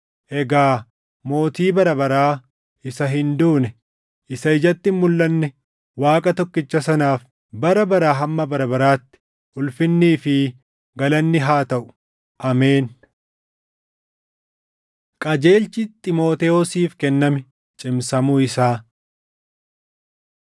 Egaa Mootii bara baraa, isa hin duune, isa ijatti hin mulʼanne Waaqa tokkicha sanaaf bara baraa hamma bara baraatti ulfinnii fi galanni haa taʼu. Ameen. Qajeelchi Xiimotewosiif Kenname Cimsamuu Isaa